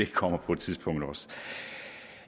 kommer på et tidspunkt